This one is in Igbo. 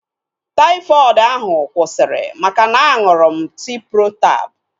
Taifọdụ ahu kwụsịrị maka na-aṅụrụ m Ciprotab